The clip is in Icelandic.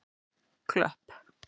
Klöpp